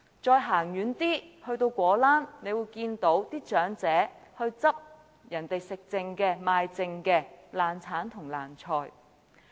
再走遠一點到果欄，大家會看到長者撿拾別人吃剩、賣剩的爛橙、爛菜。